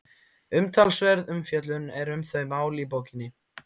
Umtalsverð umfjöllun er um þau mál í bókinni.